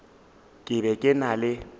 ke be ke na le